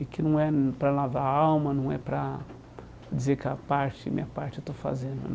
E que não é hum para lavar a alma, não é para dizer que a parte, minha parte, eu estou fazendo.